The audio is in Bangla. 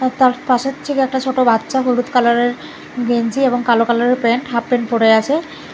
তার পাশের থেকে একটা ছোট বাচ্চা হলুদ কালারের গেঞ্জি এবং কালো কালারের প্যান্ট হাফ প্যান্ট পরে আছে।